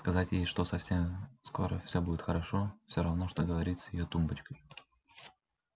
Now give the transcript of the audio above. сказать ей что совсем скоро всё будет хорошо всё равно что говорить с её тумбочкой